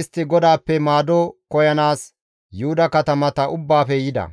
istti GODAAPPE maado koyanaas Yuhuda katamata ubbaafe yida.